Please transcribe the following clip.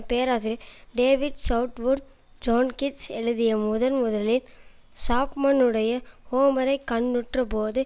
பேராசிரியர் David Southwood John Keats எழுதிய முதன் முதலில் சாப்மனுடைய ஹோமரைக் கண்ணுற்றபோது